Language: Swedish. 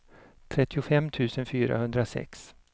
trettiofem tusen fyrahundrasex